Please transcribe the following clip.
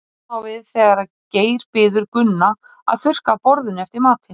sama á við þegar geir biður gunna að þurrka af borðinu eftir matinn